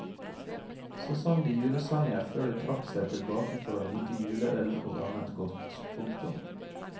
Så sang de julesanger før de trakk seg tilbake for å nyte juleøl og annet godt. punktum